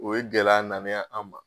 O ye gɛlɛya na nen ye an ma